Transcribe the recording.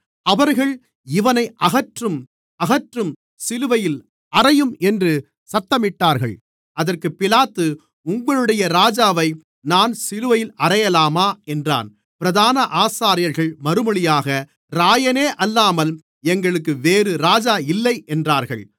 அவர்கள் இவனை அகற்றும் அகற்றும் சிலுவையில் அறையும் என்று சத்தமிட்டார்கள் அதற்குப் பிலாத்து உங்களுடைய ராஜாவை நான் சிலுவையில் அறையலாமா என்றான் பிரதான ஆசாரியர்கள் மறுமொழியாக இராயனே அல்லாமல் எங்களுக்கு வேறு ராஜா இல்லை என்றார்கள்